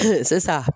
sisan